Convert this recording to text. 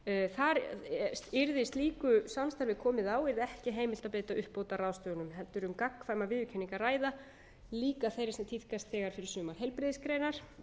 viðurkenningu yrði slíku samstarfi komið á yrði ekki heimilt að beita uppbótarráðstöfunum heldur er um gagnkvæma viðurkenningu að ræða líka þeirri sem þegar tíðkast fyrir sumar heilbrigðisgreinar